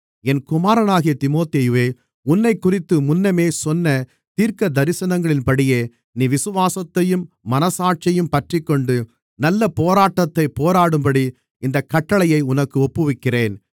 என் குமாரனாகிய தீமோத்தேயுவே உன்னைக்குறித்து முன்னமே சொன்ன தீர்க்கதரிசனங்களின்படியே நீ விசுவாசத்தையும் மனசாட்சியையும் பற்றிக்கொண்டு நல்லப் போராட்டத்தைப் போராடும்படி இந்தக் கட்டளையை உனக்கு ஒப்புவிக்கிறேன்